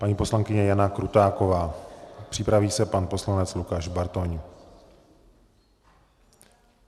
Paní poslankyně Jana Krutáková, připraví se pan poslanec Lukáš Bartoň.